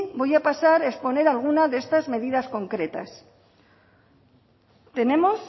voy a pasar a exponer alguna de estas medidas concretas tenemos